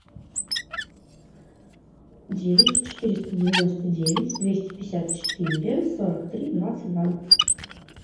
девять четыреста девяносто девять двести пятьдесят четыре сорок три двадцать два